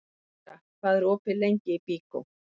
Tildra, hvað er opið lengi í Byko?